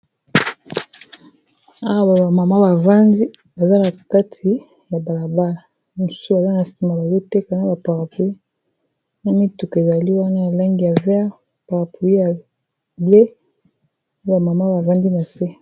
awa bamama bavandi bazalaa kati ya balabala mosu aza na sima bazotekana ba parapluie na mituku ezali wana elangi ya vere paraplui ya ble awa bamama bavandi na se